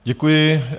Děkuji.